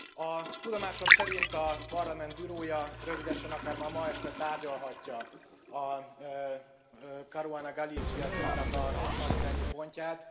A tudomásom szerint a Parlament Bureau ja rövidesen, akár már ma este tárgyalhatja a Caruana Galizia díjnak a napirendi pontját.